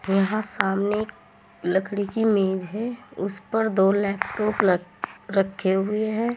यहां सामने एक लकड़ी की मेज है उसपर दो लैपटॉप रख रखें हुए हैं।